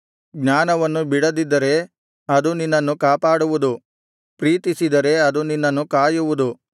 ಜ್ಞಾನವನ್ನು ಬಿಡದಿದ್ದರೆ ಅದು ನಿನ್ನನ್ನು ಕಾಪಾಡುವುದು ಪ್ರೀತಿಸಿದರೆ ಅದು ನಿನ್ನನ್ನು ಕಾಯುವುದು